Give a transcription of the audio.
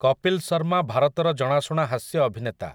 କପିଲ୍ ଶର୍ମା ଭାରତର ଜଣାଶୁଣା ହାସ୍ୟ ଅଭିନେତା ।